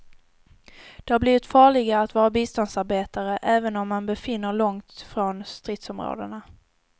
Det har blivit farligare att vara biståndsarbetare, även om man befinner långt ifrån stridsområdena.